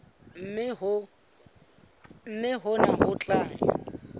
mme hona ho tla ya